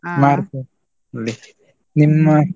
day ನಿಮ್ಮ?